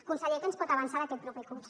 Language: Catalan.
conseller què ens pot avançar d’aquest proper curs